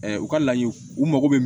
u ka law u mago bɛ